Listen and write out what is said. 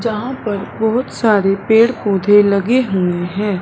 जहां पर बहोत सारे पेड़ पौधे लगे हुएं हैं।